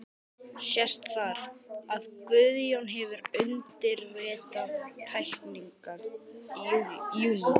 Sést þar, að Guðjón hefur undirritað teikningarnar í júní